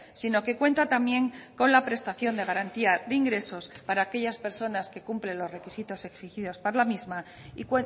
sino que cuenta también con la prestación de garantía de ingresos para aquellas personas que cumplen los requisitos exigidos para la misma y